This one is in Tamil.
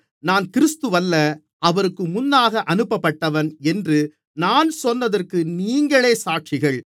நான் கிறிஸ்துவல்ல அவருக்கு முன்னாக அனுப்பப்பட்டவன் என்று நான் சொன்னதற்கு நீங்களே சாட்சிகள்